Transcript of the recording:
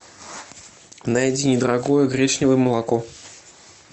найди недорогое гречневое молоко